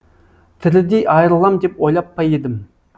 тірідей айырылам деп ойлап па едім